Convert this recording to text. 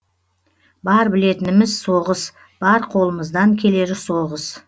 бар білетініміз соғыс бар қолымыздан келері соғыс